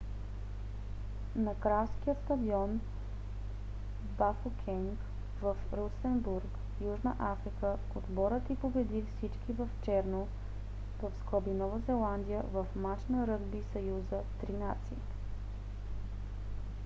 на кралския стадион бафокенг в рустенбург южна африка отборът й победи всички в черно нова зеландия в мач на ръгби съюза три нации